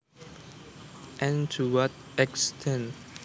and to what extent